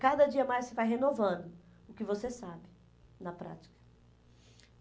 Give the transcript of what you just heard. Cada dia mais você vai renovando o que você sabe na prática.